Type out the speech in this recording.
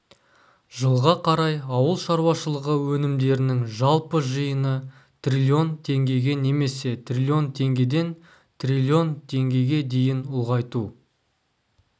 жылға қарай ауыл шаруашылығы өнімдерінің жалпы жиыны триллион теңгеге немесе триллион теңгеден триллион теңгеге дейін ұлғайту